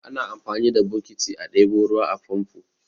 Ana amfani da bokitai a ɗebo ruwa a famfo.